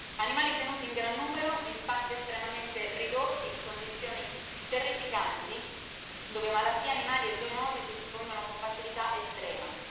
Animali tenuti in gran numero in spazi estremamente ridotti in condizioni terrificanti, dove malattie animali e zoonosi si diffondono con facilità estrema.